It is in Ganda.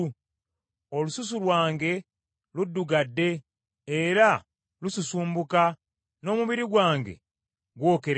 Olususu lwange luddugadde, era lususumbuka; n’omubiri gwange gwokerera.